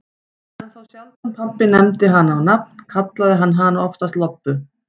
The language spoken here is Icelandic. En þá sjaldan pabbi nefndi hana á nafn, kallaði hann hana oftast Lobbu.